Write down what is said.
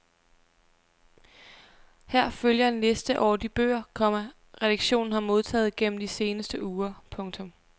Her følger en liste over de bøger, komma redaktionen har modtaget gennem de seneste uger. punktum